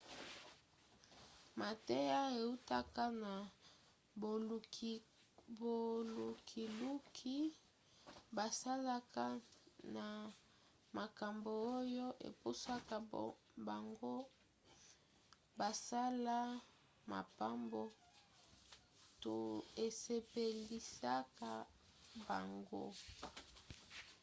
mateya eutaka na bolukiluki basalaka na makambo oyo epusaka bango basala makambo to esepelisaka bango